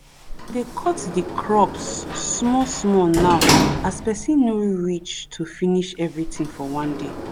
dey cut de crops small small now as pesin no reach to finish everything for one day